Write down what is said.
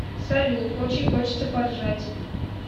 салют очень хочется поржать